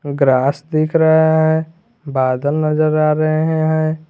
Grass दिख रहा है बादल नजर आ रहे हैं।